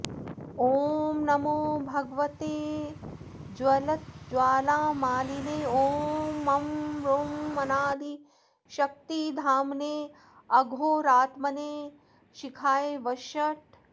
ॐ नमो भगवते ज्वलज्ज्वालामालिने ॐ मं रूं अनादिशक्तिधाम्ने अघोरात्मने शिखायै वषट्